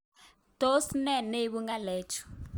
Tos ne neibu ng'alechu